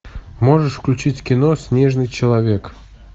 можешь включить кино снежный человек